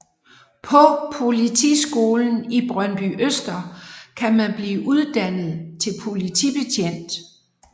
På Politiskolen i Brøndbyøster kan man blive uddannet til politibetjent